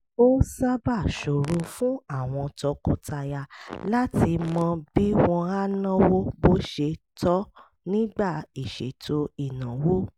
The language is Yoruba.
ó sábà ṣòro fún àwọn tọkọtaya láti mọ bí wọ́n á náwó bó ṣe tọ́ nígbà ìṣètò ìnáwó